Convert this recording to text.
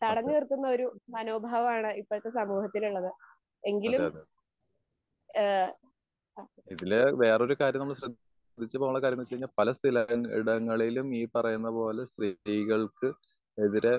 വേറൊരു കാര്യം നമ്മള് ശ്രദ്ധിച്ചു പോണം കാരണം എന്താന്ന് വെച്ച് കഴിഞ്ഞാൽ പല സ്ഥലങ്ങളിലും ഇടങ്ങളിലും ഈ പറയുന്ന പോലെ സ്ത്രീകൾക്ക് എതിരെ